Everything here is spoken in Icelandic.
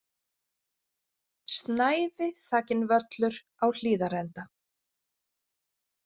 Snævi þakinn völlur á Hlíðarenda